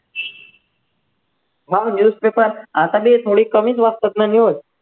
मग newspaper आता तरी थोडी कमीच वाचतात ना news